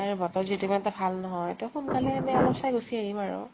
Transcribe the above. আৰু বতৰ যদি ইমান এটা ভাল নহয় ত সোনকালে এনে অলপ চাই গুছি আহিম আৰু।